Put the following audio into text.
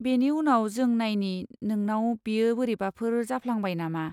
बेनि उनाव जों नायनि नोंनाव बेयो बोरैबाफोर जाफ्लांबाय नामा।